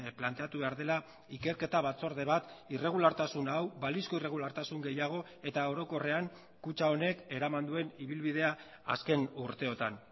planteatu behar dela ikerketa batzorde bat irregulartasun hau balizko irregulartasun gehiago eta orokorrean kutxa honek eraman duen ibilbidea azken urteotan